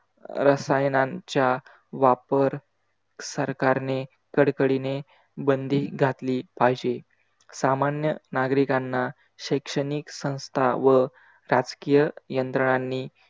रसायनांच्या वापर सरकारने चढकडीने बंदी घातली पाहिजे सामान्य नागरिकांना शैक्षणिक संस्था व शासकीय यंत्रांनी